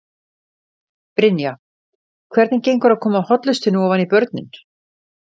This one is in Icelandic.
Brynja: Hvernig gengur að koma hollustunni ofan í börnin?